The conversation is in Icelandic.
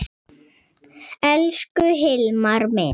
Elsku Hilmar minn.